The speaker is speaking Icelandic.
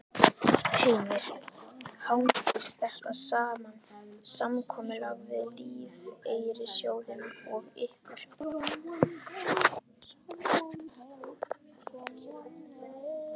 Heimir: Hangir þetta saman, samkomulag við lífeyrissjóðina og ykkur?